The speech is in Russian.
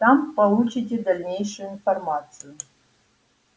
там получите дальнейшую информацию